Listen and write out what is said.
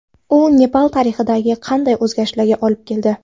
U Nepal tarixida qanday o‘zgarishlarga olib keldi?